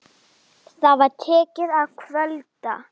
SKÚLI: Sóru?